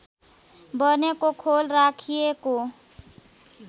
बनेको खोल राखिएको